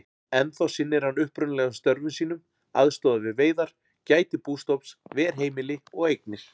Ennþá sinnir hann upprunalegum störfum sínum, aðstoðar við veiðar, gætir bústofns, ver heimili og eignir.